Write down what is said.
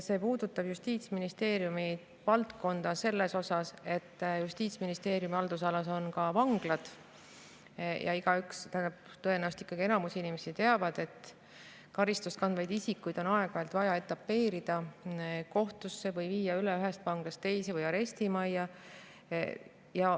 See puudutab Justiitsministeeriumi valdkonda, selles mõttes, et Justiitsministeeriumi haldusalas on ka vanglad ja tõenäoliselt enamik inimesi ikkagi teab, et karistust kandvaid isikuid on aeg-ajalt vaja etapeerida kohtusse või viia üle ühest vanglast teise või arestimajja.